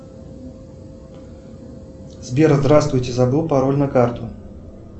сбер здравствуйте забыл пароль на карту